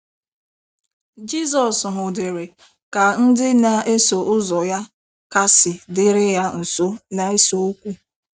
Jizọs hụdịrị ka ndị na - eso ụzọ ya kasị dịrị ya nso na - ese okwu.